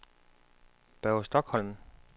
Børge Stokholm